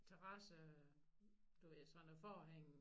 Terasse du ved sådan noget forhæng